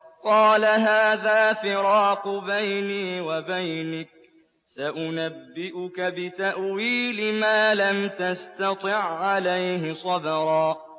قَالَ هَٰذَا فِرَاقُ بَيْنِي وَبَيْنِكَ ۚ سَأُنَبِّئُكَ بِتَأْوِيلِ مَا لَمْ تَسْتَطِع عَّلَيْهِ صَبْرًا